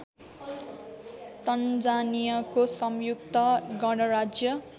तन्जानियाको संयुक्त गणराज्य